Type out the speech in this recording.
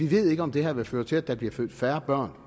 ved om det her vil føre til at der bliver født færre børn